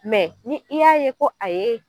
ni i y'a ye ko a ye